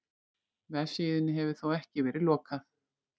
Vefsíðunni hefur þó ekki verið lokað